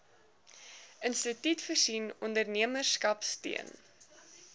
instituut voorsien ondernemerskapsteun